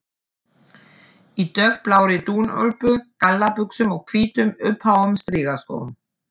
Í dökkblárri dúnúlpu, gallabuxum og hvítum, uppháum strigaskóm.